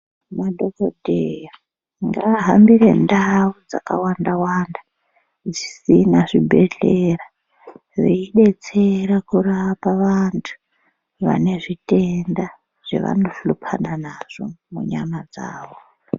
Madhokoteya ngaahambire ndau dzakawanda wanda dzisina zvibhehleya veidetsera kurapa vantu vane zvitenda zvavanohlupana nazvo munyama dzavo.